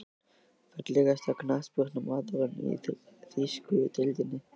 Fallegasti knattspyrnumaðurinn í þýsku deildinni?